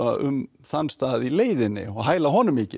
um þann stað í leiðinni og hæla honum mikið